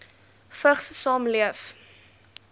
vigs saamleef